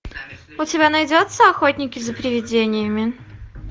у тебя найдется охотники за приведениями